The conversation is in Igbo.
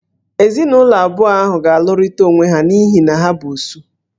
Ezinụlọ abụọ ahụ ga-alụrịta onwe ha n'ihi na ha bụ "Osu"